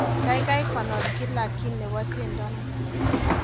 Kaikai konor gila kiy nebo tiendo ni